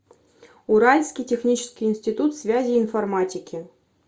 уральский технический институт связи и информатики